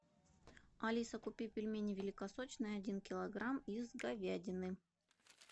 алиса купи пельмени великосочные один килограмм из говядины